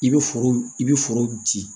I bɛ foro i bɛ forow di